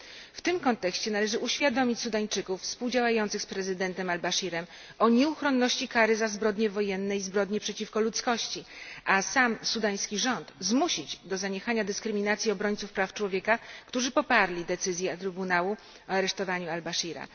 W tym kontekście należy uświadomić Sudańczykom współdziałającym z prezydentem al Baszirem nieuchronność kary za zbrodnie wojenne i zbrodnie przeciwko ludzkości, a sam sudański rząd zmusić do zaniechania dyskryminacji obrońców praw człowieka, którzy poparli decyzję Trybunału o aresztowaniu al Baszira.